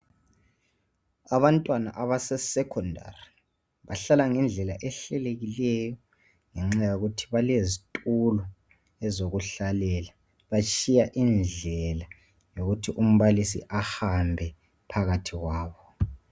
Abantwana abase secondary bahlala ngendlela ehlelekileyo ngenxa yokuthi balezitulo zokuhlala batshiya indlela yokuthi umbalisi ahambe phakathi kwabo.